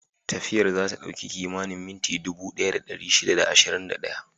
Tafiyar za ta ɗauki kimanin minti dubu ɗaya da ɗari shida da ashirin da ɗaya.